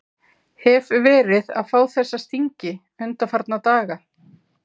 Hef verið að fá þessa stingi undanfarna daga.